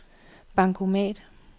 bankomat